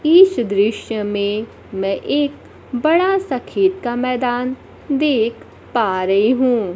इस दृश्य में मैं एक बड़ा सा खेत का मैदान देख पा रही हूँ।